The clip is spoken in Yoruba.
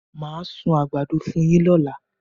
Màá sun àgbàdo fún yín lọ́la